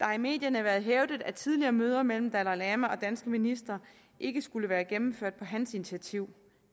har i medierne været hævdet at tidligere møder mellem dalai lama og danske ministre ikke skulle være blevet gennemført på hans initiativ